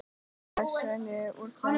les Svenni úr þeim.